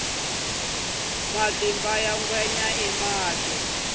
matimba ya ngwenya i mati